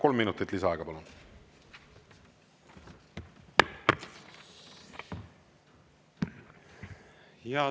Kolm minutit lisaaega, palun!